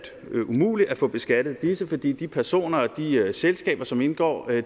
ved umuligt at få beskattet disse fordi de personer og de selskaber som indgår jo